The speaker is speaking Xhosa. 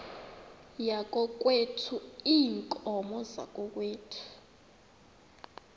yakokwethu iinkomo zakokwethu